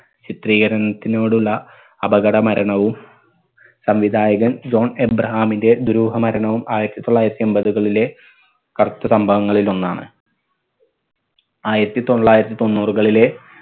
ചിത്രീകരണത്തിനോടുള്ള അപകട മരണവും സംവിധായകൻ ജോൺ അബ്രഹാമിന്റെ ദുരൂഹ മരണവും ആയിരത്തി തൊള്ളായിരത്തി എമ്പതുകളിലെ കറുത്ത സംഭവങ്ങളിൽ ഒന്നാണ്. ആയിരത്തി തൊള്ളായിരത്തി തൊണ്ണൂറുകളിലെ